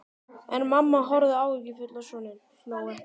En mamma horfði áhyggjufull á soninn, hló ekki.